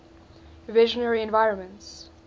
visionary environments